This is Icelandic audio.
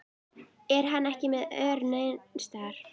Er hann ekki með ör neins staðar?